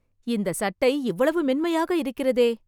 இந்த சட்டை இவ்வளவு மென்மையாக இருக்கிறதே